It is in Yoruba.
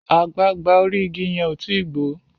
àgbagbà orí ìgi yén o tí gbó